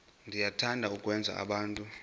niyathanda ukwenza abantu